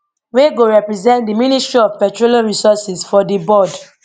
wey go represent di ministry of petroleum resources for di board